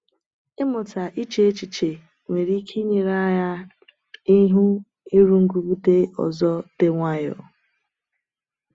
Ịmụta iche echiche nwere ike inyere anyị ihu nrụgide ọzọ dị nwayọ.